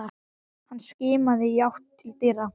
Hann skimaði í átt til dyra.